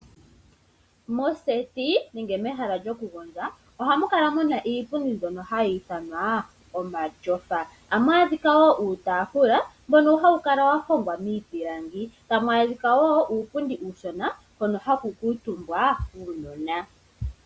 Moseti nenge mehala lyo kugondja ohamukala muna iipundi mbyono hayi ithanwa omatyofa. Ohamu adhika woo uutaafula mbono hawu kala wa hongwa miipilangi, tamu adhika woo uupundi uushona hono haku kuutumbwa kuunona.